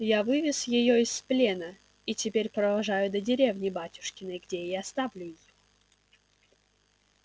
я вывез её из плена и теперь провожаю до деревни батюшкиной где и оставлю её